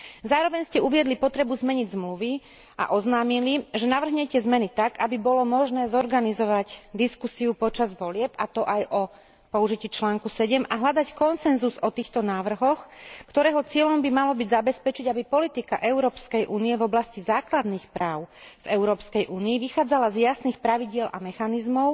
Zároveň ste uviedli potrebu zmeniť zmluvy a oznámili, že navrhnete zmeny tak, aby bolo možné zorganizovať diskusiu počas volieb, a to aj o použití článku 7, a hľadať konsenzus o týchto návrhoch, ktorého cieľom by malo byť zabezpečiť, aby politika Európskej únie v oblasti základných práv v Európskej únii vychádzala z jasných pravidiel a mechanizmov,